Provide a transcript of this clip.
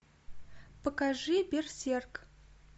покажи берсерк